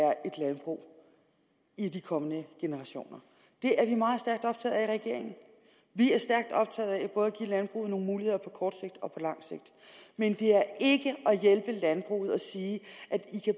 er et landbrug i de kommende generationer det er vi meget stærkt optaget af i regeringen vi er stærkt optaget af både at give landbruget nogle muligheder på kort sigt og på langt sigt men det er ikke at hjælpe landbruget at sige at de